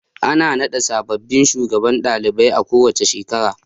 Ana naɗa sababbin shugabannin ɗalibai a kowace shekara.